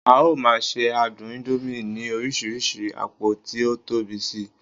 a o ma se adun indomie ni oríṣi apo ti o Tobi Si